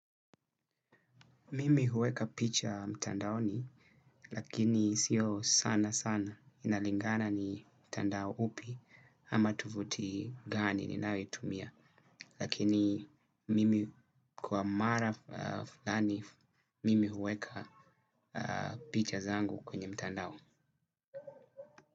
Mimi huweka picha mtandaoni lakini sio sana sana inalingana ni mtandao upi ama tuvuti gani ninayo tumia. Lakini mimi kwa mara fulani mimi huweka picha zangu kwenye mtandao.